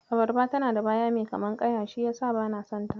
Abarba tana da baya mai kamar ƙaya shi yasa bana son ta.